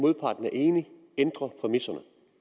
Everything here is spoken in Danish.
modparten er enig ændre præmisserne